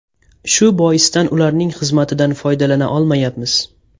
Shu boisdan ularning xizmatidan foydalana olmayapmiz.